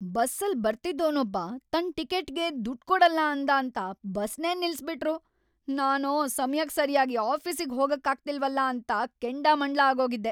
ಬಸ್ಸಲ್‌ ಬರ್ತಿದ್ದೋನೊಬ್ಬ ತನ್ ಟಿಕೆಟ್ಗೆ ದುಡ್ಡ್ ಕೊಡಲ್ಲ ಅಂದಾಂತ ಬಸ್ನೇ ನಿಲ್ಸ್‌ಬಿಟ್ರು. ನಾನೋ ಸಮಯಕ್ ಸರ್ಯಾಗಿ ಆಫೀಸಿಗ್ ಹೋಗಕ್ಕಾಗ್ತಿಲ್ವಲ ಅಂತ ಕೆಂಡಾಮಂಡ್ಲ ಆಗೋಗಿದ್ದೆ.